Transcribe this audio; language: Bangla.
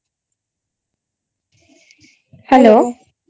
Hello